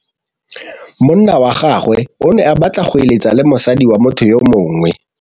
Monna wa gagwe o ne a batla go êlêtsa le mosadi wa motho yo mongwe.